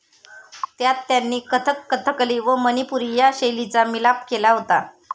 त्यात त्यांनी कथक कथकली व मनिपुरी या शैलीचा मिलाफ केला होता